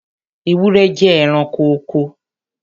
Ewúrẹ́ jẹ́ ẹranko oko.